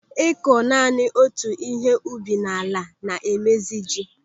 Ịkọ naanị otu ihe ubi n'ala na-emezi ji.